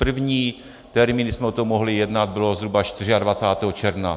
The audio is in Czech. První termín, kdy jsme o tom mohli jednat, bylo zhruba 24. června.